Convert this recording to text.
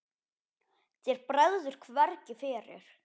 Þér bregður hvergi fyrir.